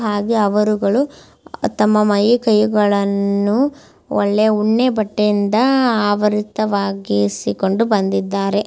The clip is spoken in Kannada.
ಹಾಗೆ ಅವರುಗಳು ತಮ್ಮ ಮೈ ಕೈಗಳನ್ನು ಒಳ್ಳೆ ಉಣ್ಣೆ ಬಟ್ಟೆಯಿಂದ ಆವರಿತವಾಗಿಸಿಕೊಂಡು ಬಂದಿದ್ದಾರೆ.